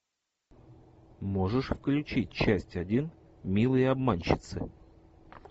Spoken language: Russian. можешь включить часть один милые обманщицы